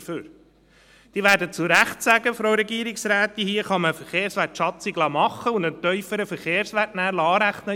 Frau Regierungsrätin, Sie werden zu Recht sagen, dass man die Verkehrswertschatzung machen und einen tieferen Verkehrswert anrechnen lassen kann.